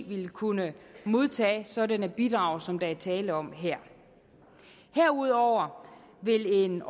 vil kunne modtage sådanne bidrag som der er tale om her herudover vil en